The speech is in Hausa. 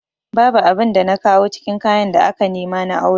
Babu abin da na kawo cikin kayan da aka nema na auren